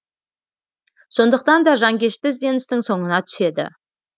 сондықтан да жанкешті ізденістің соңына түседі